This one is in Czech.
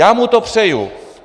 Já mu to přeju.